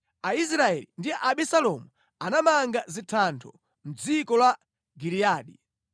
Aisraeli ndi Abisalomu anamanga zithando mʼdziko la Giliyadi.